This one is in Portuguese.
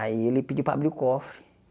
Aí ele pediu para abrir o cofre.